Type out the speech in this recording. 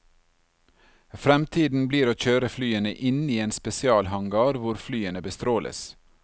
Fremtiden blir å kjøre flyene inn i en spesialhangar, hvor flyene bestråles.